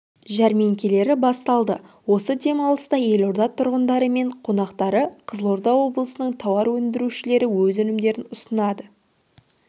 жәрмеңкелері басталды осы демалыста елорда тұрғындары мен қонақтарына қызылорда облысының тауар өндірушілері өз өнімдерін ұсынады